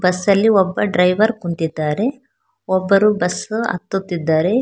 Bus ಅಲ್ಲಿ ಒಬ್ಬ driver ಕುಂತಿದ್ದಾರೆ ಒಬ್ಬರು ಬಸ್ ಹತ್ತುತ್ತಿದ್ದಾರೆ.